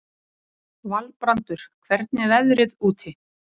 Valbrandur, hvernig er veðrið úti?